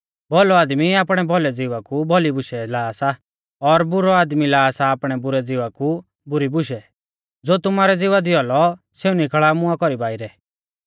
भौलौ आदमी आपणै भौलै ज़िवा कु भौली बूशै ला सा और बुरौ आदमी ला सा आपणै बुरै ज़िवा कु बुरी बूशै ज़ो तुमारै ज़िवा दी औलौ सेऊ निकल़ा मुआं कौरी बाइरै